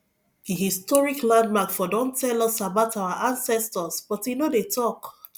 dis historic landmark for don tell us about our ancestors but e no dey tok